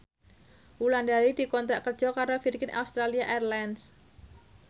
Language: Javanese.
Wulandari dikontrak kerja karo Virgin Australia Airlines